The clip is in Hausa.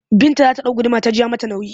Binta za ta ɗau gudumar ta ji ta yi mata nauyi